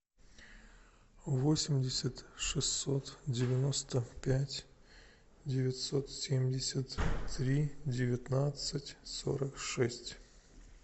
восемьдесят шестьсот девяносто пять девятьсот семьдесят три девятнадцать сорок шесть